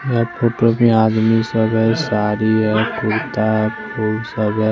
रखु तो भी आदमी सारी है कुरता है फुल सब है।